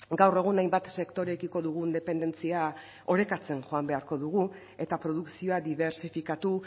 gaur egun hainbat sektorekiko dugun dependentzia orekatzen joan beharko dugu eta produkzioa dibertsifikatu